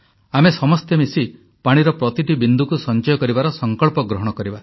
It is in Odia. ଆମେ ସମସ୍ତେ ମିଶି ପାଣିର ପ୍ରତିଟି ବିନ୍ଦୁକୁ ସଂଚୟ କରିବାର ସଂକଳ୍ପ ଗ୍ରହଣ କରିବା